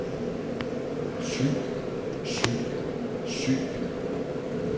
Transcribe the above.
syg syg syg